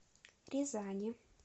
рязани